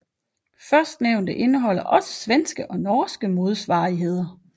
Førstnævnte indeholder også svenske og norske modsvarigheder